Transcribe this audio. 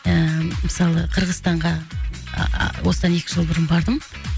ыыы мысалы қырғызстанға ааа осыдан екі жыл бұрын бардым